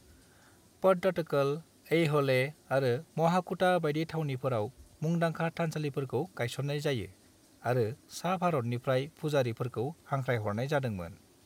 पट्टाडकल, ऐह'ल आरो महाकुटा बायदि थावनिफोराव मुंदांखा थानसालिफोरखौ गायसननाय जायो आरो सा-भारतनिफ्राय फुजारिफोरखौ हांख्रायहरनाय जादोंमोन।